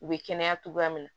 U bɛ kɛnɛya cogoya min na